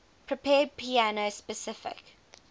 prepared piano specify